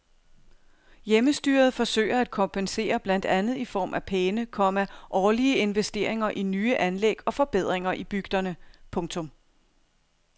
Hjemmestyret forsøger at kompensere blandt andet i form af pæne, komma årlige investeringer i nye anlæg og forbedringer i bygderne. punktum